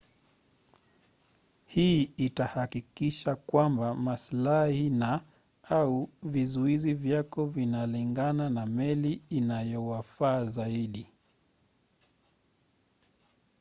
hii itahakikisha kwamba masilahi na/au vizuizi vyako vinalingana na meli inayowafaa zaidi